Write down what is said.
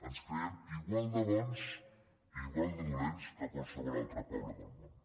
ens creiem igual de bons i igual de dolents que qualsevol altre poble del món